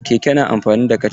Keke na amfani da kaca.